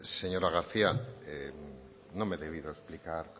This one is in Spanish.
señora garcía no me he debido explicar